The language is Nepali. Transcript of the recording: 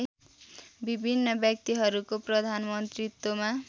विभिन्न व्यक्तिहरूको प्रधानमन्त्रीत्वमा